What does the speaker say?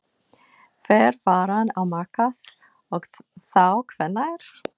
Fer varan á markað og þá hvenær?